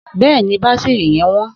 Bẹ́ẹ̀ni, bátírí yẹn wọ́n.